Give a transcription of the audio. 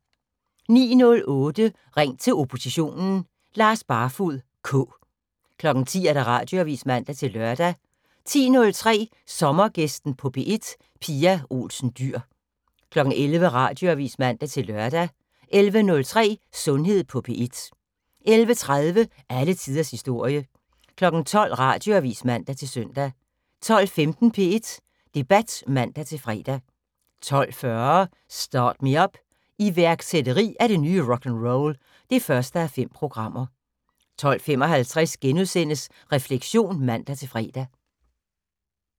09:08: Ring til oppositionen: Lars Barfoed K. 10:00: Radioavis (man-lør) 10:03: Sommergæsten på P1: Pia Olsen Dyhr 11:00: Radioavis (man-lør) 11:03: Sundhed på P1 11:30: Alle tiders historie 12:00: Radioavis (man-søn) 12:15: P1 Debat (man-fre) 12:40: Start Me Up - iværksætteri er det nye rock'n'roll (1:5) 12:55: Refleksion *(man-fre)